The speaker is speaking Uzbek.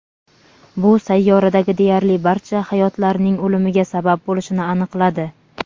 bu sayyoradagi deyarli barcha hayotlarning o‘limiga sabab bo‘lishini aniqladi.